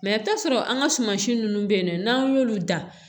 i bɛ taa sɔrɔ an ka suman si ninnu bɛ yen nɔ n'an y'olu dan